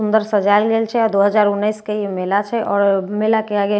अंदर सजायल गेल छे आ दो हज़ार उन्नैस के ई मेला छे आओर मेला केँ आगे--